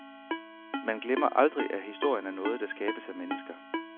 Man Glemmer aldrig, at historien er noget, der skabes af mennesker.